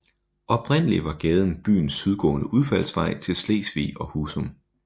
Oprindelig var gaden byens sydgående udfaldsvej til Slesvig og Husum